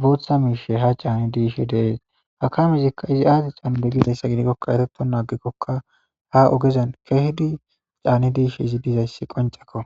bootha miishe ha caani diishe deees hakamezikka izi aadi xanode gidayssa gidikkokka eteto naagekkokka ha ogezen kehdi caani diishe izi dizayssi qoncekko